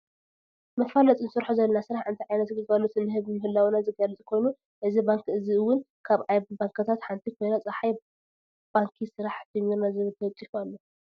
መፈላጢ እንሰርሖ ዘለና ስርሕ እንታይ ዓይነት ግልጋሎት እንህብ ምህላውና ዘገልፅ ኮይና እዚ ባንኪ እዘ እውን ካብ ባንኪታት ሓንቲ ኮይና ፀሓይ ባንኪ ስራሕ ጀሚርና ዝብል ተለጢፉ ኣሎ።